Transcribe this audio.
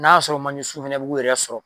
N'a sɔrɔ manje sun fɛnɛ bu k'u yɛrɛ sɔrɔ